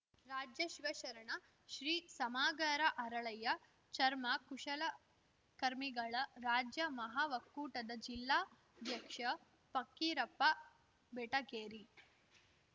ರಾಜ್ಯ ಶಿವಶರಣ ಶ್ರೀ ಸಮಗಾರ ಹರಳಯ್ಯ ಚರ್ಮ ಕುಶಲಕರ್ಮಿಗಳ ರಾಜ್ಯ ಮಹಾಒಕ್ಕೂಟದ ಜಿಲ್ಲಾಧ್ಯಕ್ಷ ಪಕ್ಕೀರಪ್ಪ ಬೆಟಗೇರಿ